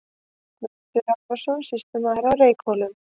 Guðmundur Arason, sýslumaður á Reykhólum.